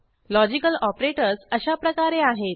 logical operators अशाप्रकारे आहेत